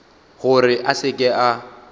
gore a se ke a